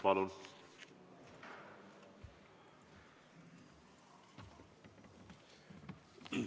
Palun!